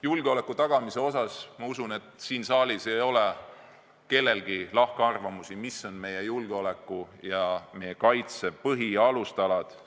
Julgeoleku tagamise osas usutavasti siin saalis ei ole kellelgi lahkarvamusi, mis on meie julgeoleku ja meie kaitse põhialustalad.